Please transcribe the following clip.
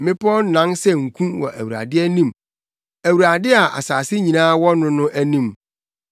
Mmepɔw nan sɛ nku wɔ Awurade anim, Awurade a asase nyinaa wɔ no no anim.